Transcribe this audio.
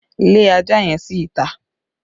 Lé ajá yẹn sí ìta!